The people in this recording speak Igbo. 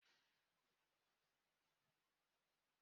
Kedụ onye sara efere ndị ahụ?